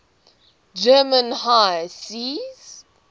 german high seas